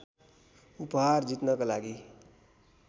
उपहार जित्नका लागि